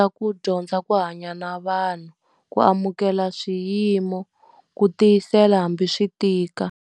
Ku dyondza ku hanya na vanhu, ku amukela swiyimo, ku tiyisela hambi swi tika.